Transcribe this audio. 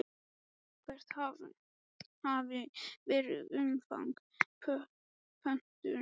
Hvert hafi verið umfang pöntunar?